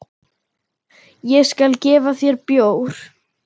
Ég skal gefa þér bjór.